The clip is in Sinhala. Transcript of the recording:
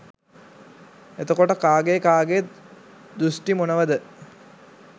එතකොට කාගේ කාගේත් දෘෂ්ටි මොනවද